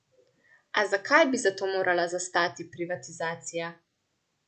A zakaj bi za to morala zastati privatizacija?